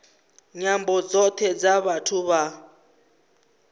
nyambo dzothe dza vhathu vha